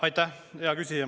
Aitäh, hea küsija!